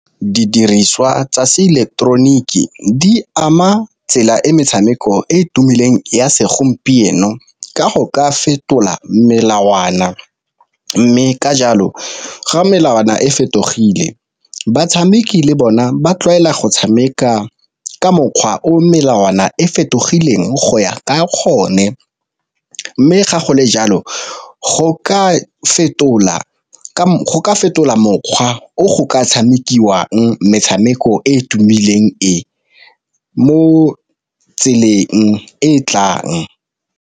Didiriswa tsa se eleketeroniki di ama tsela e metshameko e e tumileng ya segompieno, ka go ka fetola melawana. Mme ka jalo ga melawana e fetogile batshameki le bona ba tlwaela go tshameka ka mokgwa o melawana e fetogileng go ya ka gone. Mme ga gole jalo go ka fetola mokgwa o go ka tshamekiwang metshameko e e tumileng, mo tseleng e tlang.